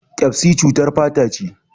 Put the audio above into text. Ƙyasbi cutar fata ne.